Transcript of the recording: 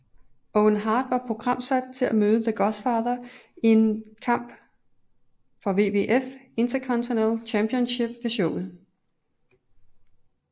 Owen Hart var programsat til at møde The Godfather i en kamp WWF Intercontinental Championship ved showet